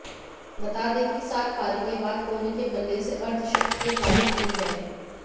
बता दें कि सात पारी के बाद कोहली के बल्ले से अर्धशतकीय पारी निकली है